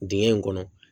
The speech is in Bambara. Dingɛ in kɔnɔ